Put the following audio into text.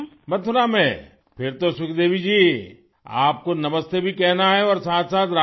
متھرا میں، پھر تو سکھ دیوی جی، آپ کو نمستے بھی کہنا ہے اور ساتھ ساتھ رادھے